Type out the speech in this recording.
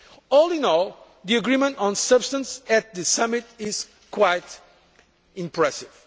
resolve. All in all, the agreement on substance at this summit is quite impressive.